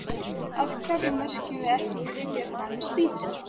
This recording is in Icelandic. Af hverju merkjum við ekki gryfjurnar með spýtum?